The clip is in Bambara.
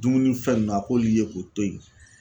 Dumunifɛn nunnu a k'olu ye k'o to ye